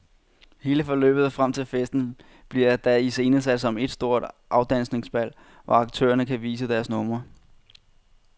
Hele forløbet frem til festen bliver da iscenesat som et stort afdansningsbal, hvor aktørerne kan vise deres numre.